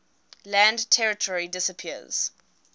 land territory disappears